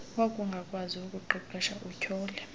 wakungakwazi ukuqeqesha utyhole